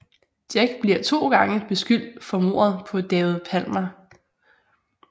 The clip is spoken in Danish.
Jack bliver to gange beskyldt for mordet på David Palmer